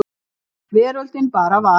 Veröldin bara var.